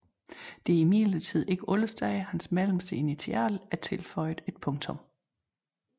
Det er imidlertid ikke alle steder hans mellemste initial er tilføjet et punktum